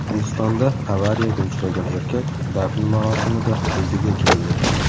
Hindistonda avariyaga uchragan erkak dafn marosimida o‘ziga keldi.